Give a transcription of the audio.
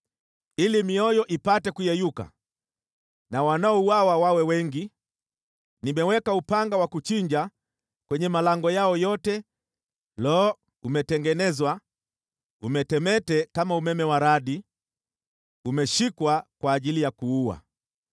Ili mioyo ipate kuyeyuka na wanaouawa wawe wengi, nimeweka upanga wa kuchinja kwenye malango yao yote. Lo! Umetengenezwa umetemete kama umeme wa radi, umeshikwa kwa ajili ya kuua.